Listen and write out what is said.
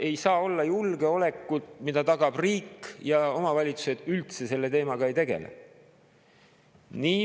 Ei saa olla julgeolekut, mida tagab riik, aga omavalitsused üldse selle teemaga ei tegele.